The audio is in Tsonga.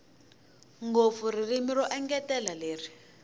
ngopfu ririmi ro engetela leri